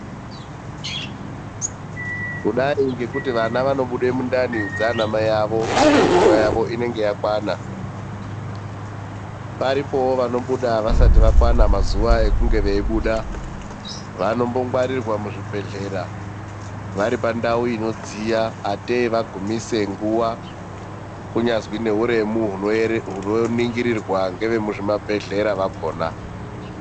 Kudari ngekuti vana vanobuda mundani dzana mai vavo ngekuti nguva yavo inenge yakwana. Paripo vanobudawo vasati vakwana mazuva ekunge vachibuda, vanombongwarirwa muzvibhedhlera vari pandau inodziya ngatei vagumise nguva kunyazwi ngeuremu unoningirwa nevemuzvibhedhlera vakona.